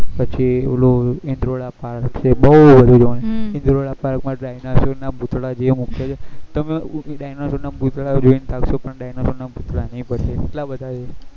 પછી ઓલું ઈન્દોરા park છે બહુ બધું છે park માં ડાયનોસર ના પુતળા જે મુકાય છે તમે ડાયનોસર ના પુતળા જોઈ ને થાક્સો પણ ડાયનોસર ના પુતળા નહી પતે એટલા બધા છે